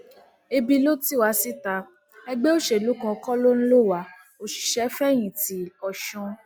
ebi ló ti wá síta ẹgbẹ òṣèlú kan kó lọ ń lọ wá òṣìṣẹfẹyìntì ọsùn